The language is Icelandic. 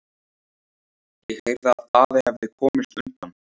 Ég heyrði að Daði hefði komist undan.